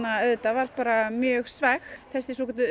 var bara mjög svekkt þessi svokölluð